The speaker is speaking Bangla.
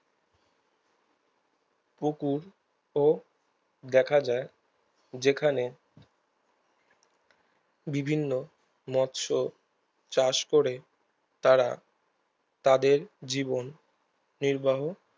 পুকুর ও দেখা যায় যেখানে বিভিন্ন মৎস চাষ করে তারা তাদের জীবন পরিবাহ